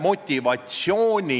Soovin teile õilsaid otsuseid!